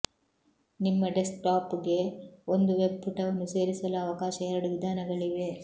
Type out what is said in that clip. ನಿಮ್ಮ ಡೆಸ್ಕ್ಟಾಪ್ಗೆ ಒಂದು ವೆಬ್ ಪುಟವನ್ನು ಸೇರಿಸಲು ಅವಕಾಶ ಎರಡು ವಿಧಾನಗಳಿವೆ